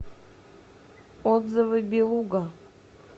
отзывы белуга